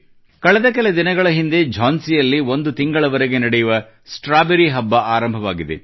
ಕಳೆದ ಕೆಲ ದಿನಗಳ ಹಿಂದೆ ಝಾನ್ಸಿಯಲ್ಲಿ ಒಂದು ತಿಂಗಳವರೆಗೆ ನಡೆಯುವ ಸ್ಟ್ರಾಬೆರಿ ಹಬ್ಬʼ ಆರಂಭವಾಗಿದೆ